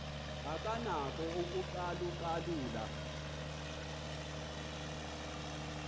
akanako ukucalu calula